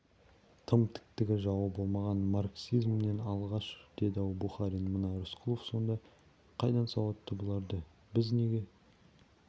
тым тіктігі жауы болмағай марксизмнен алшақ деді-ау бухарин мына рысқұлов сонда қайдан сауатты бұларды біз неге